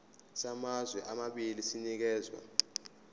samazwe amabili sinikezwa